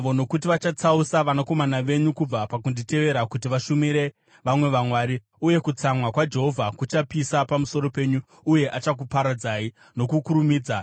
nokuti vachatsausa vanakomana venyu kubva pakunditevera kuti vashumire vamwe vamwari, uye kutsamwa kwaJehovha kuchapisa pamusoro penyu uye achakuparadzai nokukurumidza.